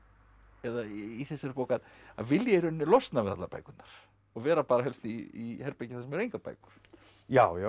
eða í þessari bók að vilja í rauninni losna við allar bækurnar og vera bara helst í herbergi þar sem eru engar bækur já já